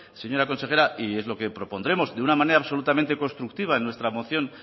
señora consejera y es lo que propondremos de una manera absolutamente constructiva en nuestra moción